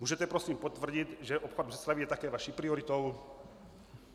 Můžete prosím potvrdit, že obchvat Břeclavi je také vaší prioritou?